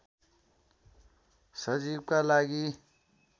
सचिवका लागि